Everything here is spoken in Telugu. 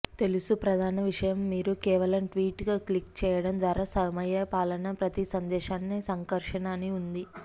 తెలుసు ప్రధాన విషయం మీరు కేవలం ట్వీట్ క్లిక్ చేయడం ద్వారా సమయపాలన ప్రతి సందేశాన్ని సంకర్షణ అని ఉంది